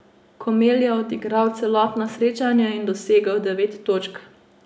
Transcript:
Komel je odigral celotno srečanje in dosegel devet točk.